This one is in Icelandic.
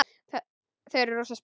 Þau eru rosa spennt.